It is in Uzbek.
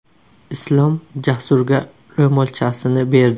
Islom Jasurga ro‘molchasini berdi.